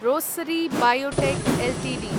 Rossari biotech Ltd